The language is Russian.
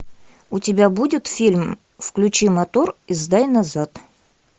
у тебя будет фильм включи мотор и сдай назад